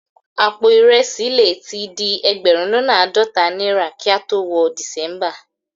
Àpò ìrẹsì le tí di ẹgbẹ̀rún lọ́nà àádọ́ta náírà kí a tó wọ December